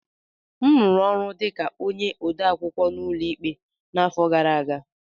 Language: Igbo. M rụrụ ọrụ dị ka onye odeakwụkwọ n'ụlọ ikpe n'afọ gara aga